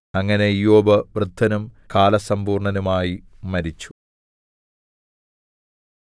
അങ്ങനെ ഇയ്യോബ് വൃദ്ധനും കാലസമ്പൂർണ്ണനുമായി മരിച്ചു